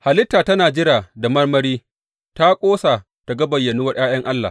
Halitta tana jira da marmari ta ƙosa ta ga bayyanuwar ’ya’yan Allah.